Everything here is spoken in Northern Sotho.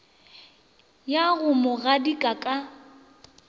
ya go mo gadika ka